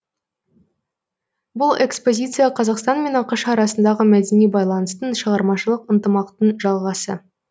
бұл экспозиция қазақстан мен ақш арасындағы мәдени байланыстың шығармашылық ынтымақтың жалғасы